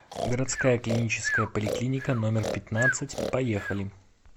городская клиническая поликлиника номер пятнадцать поехали